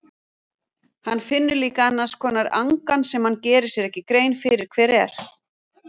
Hann finnur líka annars konar angan sem hann gerir sér ekki grein fyrir hver er.